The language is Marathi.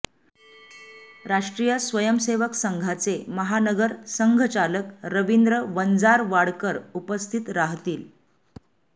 राष्ट्रीय स्वयंसेवक संघाचे महानगर संघचालक रवींद्र वंजारवाडकर उपस्थित राहतील